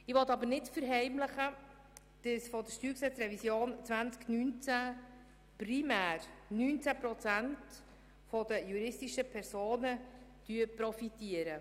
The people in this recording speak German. Ich will aber nicht verheimlichen, dass von der StG-Revision 2019 primär 19 Prozent der juristischen Personen profitieren.